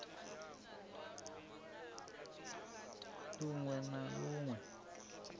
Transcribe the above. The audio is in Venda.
lun we na lun we